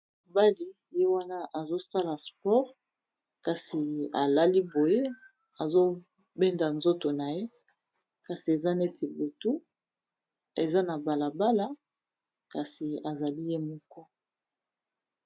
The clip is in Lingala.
mobali ye wana azosala spore kasi alali boye azobenda nzoto na ye kasi eza neti butu eza na balabala kasi azali ye moko